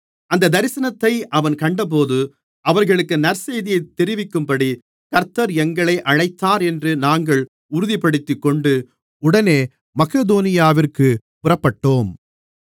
அந்த தரிசனத்தை அவன் கண்டபோது அவர்களுக்கு நற்செய்தியைத் தெரிவிக்கும்படி கர்த்தர் எங்களை அழைத்தார் என்று நாங்கள் உறுதிப்படுத்திக்கொண்டு உடனே மக்கெதோனியாவிற்குப் புறப்பட்டோம்